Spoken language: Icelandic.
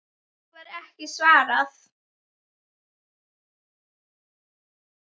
Því var ekki svarað.